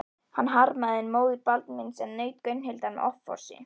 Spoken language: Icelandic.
Hann harmaði enn móður Baldvins en naut Gunnhildar með offorsi.